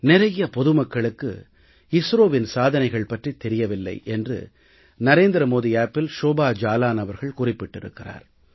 நிறைய பொது மக்களுக்கு ISROவின் சாதனைகள் பற்றித் தெரியவில்லை என்று நரேந்திர மோடி செயலியில் ஷோபா ஜாலான் அவர்கள் குறிப்பிட்டிருக்கிறார்